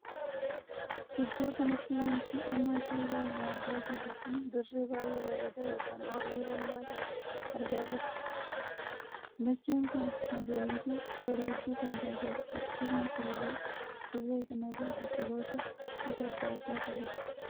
Iddoo kanatti wanti amma suuraa isaa argaa jirru kun dirree baay'ee bareedaa ykn ooyiruu bal'aa tahee argaa jirra. dacheen kun magariituu bareedduu kan taateedha. akkasuma illee dirree kana irra biqiloota gosa addaa addaatu jira.